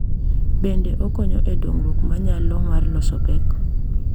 Bende, okonyo e dongruok mar nyalo mar loso pek.